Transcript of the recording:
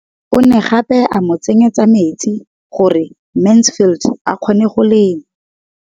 O ne gape a mo tsenyetsa metsi gore Mansfield a kgone go lema.